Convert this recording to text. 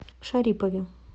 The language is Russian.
шарипове